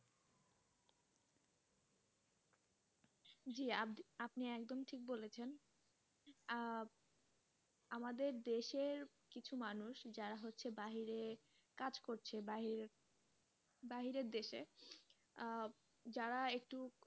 সেই সেই আপনি একদম ঠিক কথা বলেছেন আহ আমাদের দেশের কিছু মানুষ যারা হচ্ছে বাহিরে কাজ করছে বাহিরে, বাহিরের দেশে আহ যারা একটু,